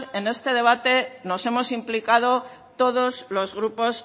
en este debate nos hemos implicado todos los grupos